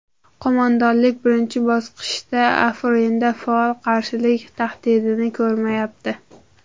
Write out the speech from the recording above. Qo‘mondonlik birinchi bosqichda Afrinda faol qarshilik tahdidini ko‘rmayapti.